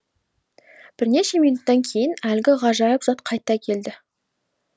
бірнеше минуттан кейін әлгі ғажайып зат қайта келді